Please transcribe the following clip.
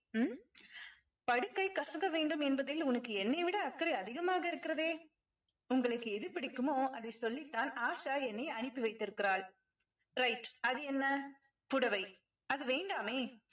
உம் படுக்கை கசக்க வேண்டும் என்பதில் உனக்கு என்னை விட அக்கறை அதிகமாக இருக்கிறதே உங்களுக்கு எது பிடிக்குமோ அதை சொல்லித்தான் ஆஷா என்னை அனுப்பி வைத்திருக்கிறாள் right அது என்ன புடவை அது வேண்டாமே